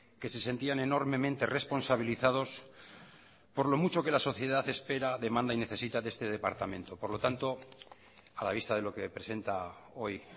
que se sentían enormemente responsabilizados por lo mucho que la sociedad espera demanda y necesita de este departamento por lo tanto a la vista de lo que presenta hoy